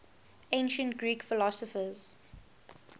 ancient greek philosophers